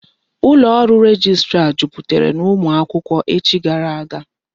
Ụlọ ọrụ rejistra jupụtara n'ụmụ akwụkwọ echi gara aga.